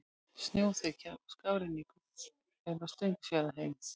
Snjóþekja og skafrenningur er á Steingrímsfjarðarheiði